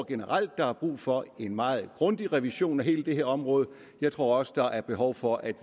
generelt er brug for en meget grundig revision af hele det her område jeg tror også der er behov for at